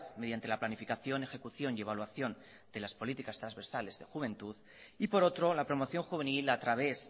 mediante la planificación ejecución y evaluación de las políticas transversales de juventud y por otro la promoción juvenil a través